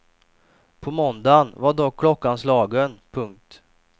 På måndagen var dock klockan slagen. punkt